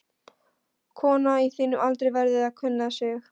Kona á þínum aldri verður að kunna sig.